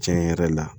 Tiɲɛ yɛrɛ la